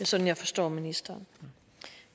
er sådan jeg forstår ministeren